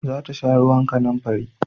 Za ta sha ruwan kanamfari